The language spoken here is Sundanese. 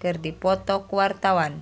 keur dipoto ku wartawan